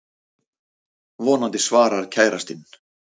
Vonandi svarar kærastinn.